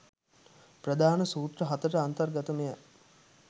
ප්‍රධාන සූත්‍ර හතට අන්තර්ගත මෙය